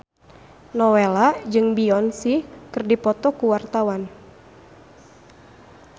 Nowela jeung Beyonce keur dipoto ku wartawan